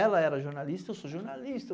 Ela era jornalista, eu sou jornalista.